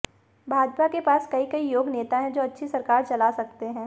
भाजपा के पास कई कई योग्य नेता हैं जो अच्छी सरकार चला सकते हैं